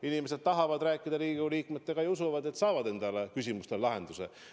Inimesed tahavad Riigikogu liikmetega rääkida ja usuvad, et saavad enda küsimustele lahenduse.